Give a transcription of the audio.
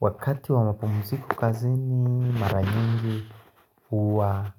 Wakati wa mapumziko kazini mara nyingi uwa